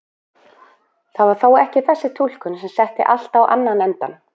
Það var þó ekki þessi túlkun sem setti allt á annan endann.